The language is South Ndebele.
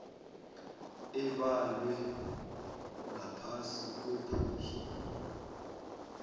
ebalwe ngaphasi kwephuzu